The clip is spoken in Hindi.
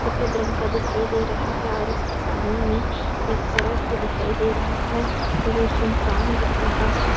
सफेद रंग का दिखाई दे रहा है और उसके सामने में एक सड़क भी दिखाई दे रहा है और ये सुनसान दिख रहा है।